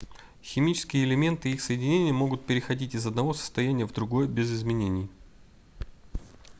химические элементы и их соединения могут переходить из одного состояния в другое без изменений